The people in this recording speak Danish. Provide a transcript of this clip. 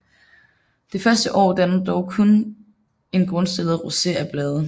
Det første år danner den dog kun en grundstillet roset af blade